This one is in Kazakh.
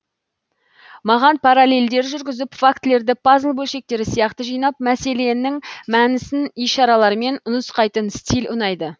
маған параллельдер жүргізіп фактілерді пазл бөлшектері сияқты жинап мәселенің мәнісін ишаралармен нұсқайтын стиль ұнайды